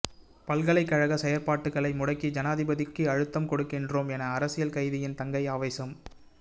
பல்கலைக்கழக செயற்பாடுகளை முடக்கி ஜனாதிபதிக்கு அழுத்தம் கொடுக்கின்றோம் என அரசியல் கைதியின் தங்கை ஆவேசம்